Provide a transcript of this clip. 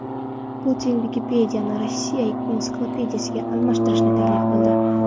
Putin Vikipediyani Rossiya ensiklopediyasiga almashtirishni taklif qildi.